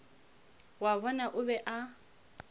wa bona o be a